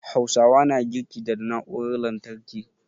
Hausawa na girki da na'urar lantarki